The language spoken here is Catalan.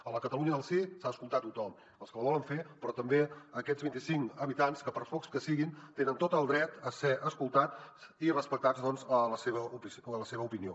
a la catalunya del sí s’ha d’escoltar a tothom els que la volen fer però també aquests vint i cinc habitants que per pocs que siguin tenen tot el dret a ser escoltats i respectats doncs en la seva opinió